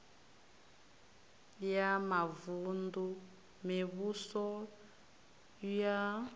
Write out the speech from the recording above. ya mavun ḓu mivhuso ya